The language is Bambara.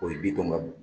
O ye bitɔn